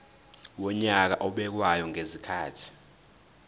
wonyaka obekwayo ngezikhathi